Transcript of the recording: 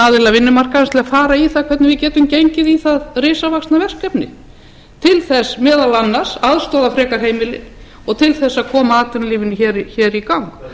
vinnumarkaðarins til að fara í það hvernig við getum gengið í það risavaxna verkefni til þess meðal annars að aðstoða frekar heimilin og til þess að koma atvinnulífinu hér í gang